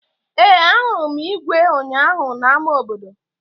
Ee, ahụrụ m igwe ụnyaahụ n'ámá obodo